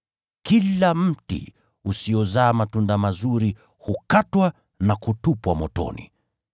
Kila mti usiozaa matunda mazuri hukatwa na kutupwa motoni.